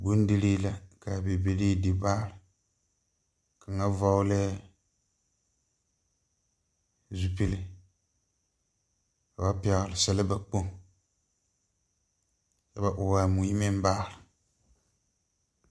Bondirii la ka bibilii di baare kaŋa vɔglɛɛ zupile ka ba pɛgle sileba kpoŋ ka ba ɔɔ a mui meŋ baare